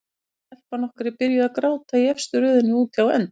Og telpan okkar byrjuð að gráta í efstu röðinni úti á enda.